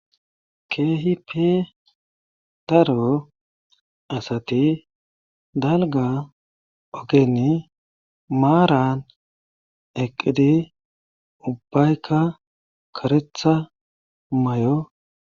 Keehhippe daro asati dalgga ogeni maaran eqqidi ubbayka karetha mayo.